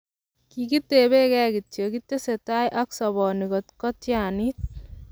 kikitebegei kityo kitese tai ak soboni kot ko tianit.